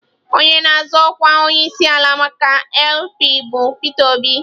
Onye na-azọ ọkwa onyeisiala maka LP bụ Peter Obi.